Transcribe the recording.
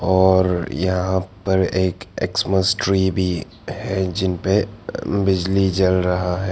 और यहां पर एक एक्समस ट्री भी है जिन पे बिजली जल रहा है।